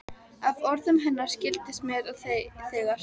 Af orðum hennar skildist mér að þegar